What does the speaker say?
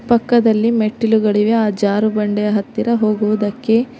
ಪಕ್ಕದಲ್ಲಿ ಮೆಟ್ಟಿಲುಗಳಿವೆ ಆ ಜಾರುಬಂಡೆ ಹತ್ತಿರ ಹೋಗುವುದಕ್ಕೆ